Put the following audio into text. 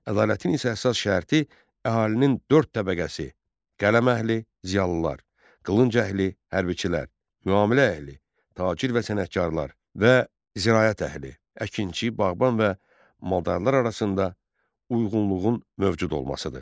Ədalətin isə əsas şərti əhalinin dörd təbəqəsi: qələm əhli, ziyalılar, qılınc əhli, hərbçilər, müamilə əhli, tacir və sənətkarlar və ziraət əhli: əkinçi, bağban və maldarın arasında uyğunluğun mövcud olmasıdır.